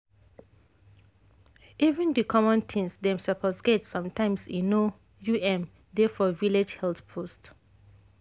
even the common things dem suppose get sometimes e no um dey for village health post.